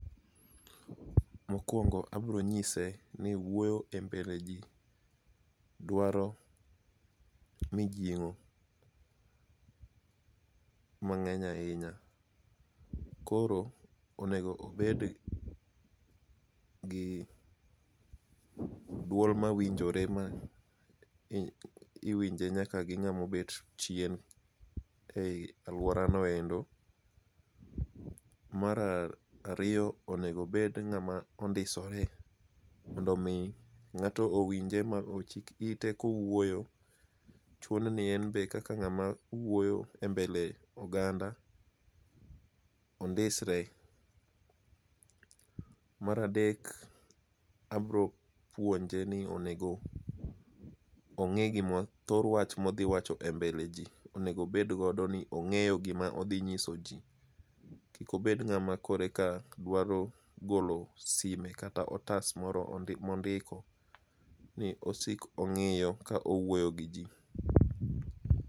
Mokwongo abro nyise ni wuoyo e mbele ji dwaro mijing'o mang'eny ahinya, koro onego obed gi dwol mawinjore ma iwinje nyaka gi ng'ama obet chien ei alworano endo. Mar ariyo onego obed ng'ama ondisore mondo omi ng'ato ochik ite kowuoyo, chuno ni en be kaka ng'ama wuoyo e mbele oganda ondisre. Mar adek, abro puonje ni onego ong'e thor wach modhi wacho e mbele ji, onego obed godo ni ong'eyo gima odhi nyiso ji. Kik obed ng'ama koreka dwaro golo sime kata otas moro mondiko ni osik ong'iyo ka owuoyo gi ji.